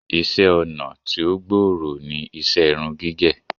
Iṣẹ́-ọnà tí ó gbòòrò ní iṣẹ́ irun gígẹ̀.